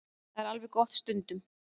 Það er alveg gott stundum.